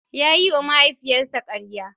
Ya yiwa mahaifiyarsa karya.